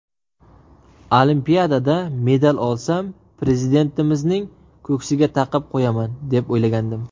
Olimpiadada medal olsam, Prezidentimizning ko‘ksiga taqib qo‘yaman, deb o‘ylagandim.